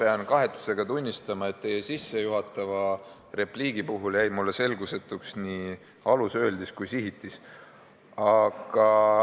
Ma pean kahetsusega tunnistama, et teie sissejuhatava repliigi puhul jäi mulle selgusetuks nii alus, öeldis kui ka sihitis.